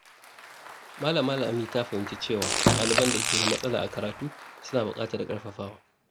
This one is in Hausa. Malama Lami ta fahimci cewa ɗaliban da ke da matsala a karatu suna bukatar ƙarfafawa.